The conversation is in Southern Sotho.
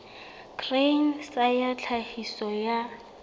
grain sa ya tlhahiso ya